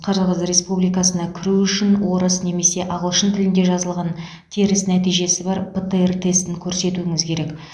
қырғыз республикасына кіру үшін орыс немесе ағылшын тілінде жазылған теріс нәтижесі бар птр тестін көрсетуіңіз керек